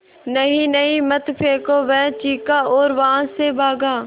नहीं नहीं मत फेंको वह चीखा और वहाँ से भागा